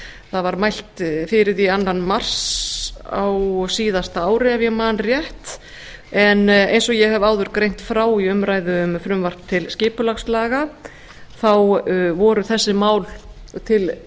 það var mælt fyrir því annan mars á síðasta ári ef ég man rétt en eins og ég hef áður greint frá í umræðu um frumvarp til skipulagslaga þá voru þessi mál til